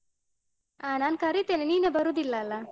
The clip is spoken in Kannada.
ಆ ನಾನ್ ಕರಿತೇನೆ ನೀನೆ ಬರುದಿಲ್ಲಲ?